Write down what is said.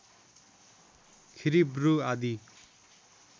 खिरिब्रु आदि